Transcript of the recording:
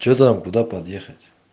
что там куда подъехать